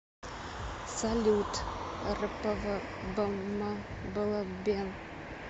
салют рпвбмблбен